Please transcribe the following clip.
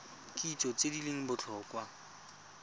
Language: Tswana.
kitso tse di leng botlhokwa